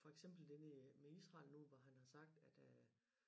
For eksempel det med med Israel nu hvor han har sagt at øh